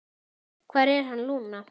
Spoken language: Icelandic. Hvar er hann, Lúna?